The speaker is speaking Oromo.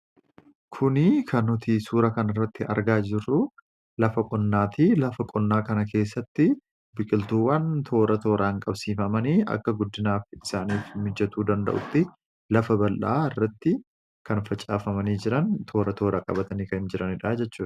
Kuni kan nuti suuraa kanarratti argaa jirru lafa qonnaati. Lafa qonnaa kana keessatti biqiltuuwwan toora tooraan qabsiifamanii guddinaaf akka isaanii mijachuu danda'uu fi lafa bal'aa irratti kan facaafamanii jiran toora qabatanii kan jiranidha jechuudha.